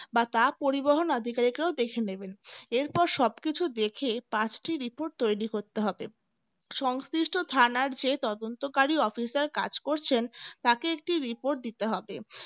বা তা পরিবহন অধিকারীক রা দেখে নেবেন এরপর সবকিছু দেখে পাঁচটি report তৈরি করতে হবে। সংশ্লিষ্ট থানার যে তদন্তকারী officer কাজ করছেন তাকে একটি report দিতে হবে